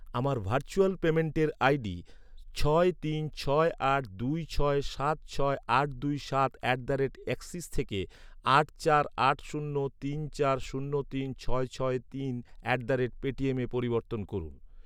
আমার ভার্চুয়াল পেমেন্টের আইডি ছয় তিন ছয় আট দুই ছয় সাত ছয় আট দুই সাত অ্যাট দ্য রেট অ্যাক্সিস থেকে আট চার আট শূন্য তিন চার শূন্য তিন ছয় ছয় তিন অ্যাট দ্য রেট পেটিএমে পরিবর্তন করুন।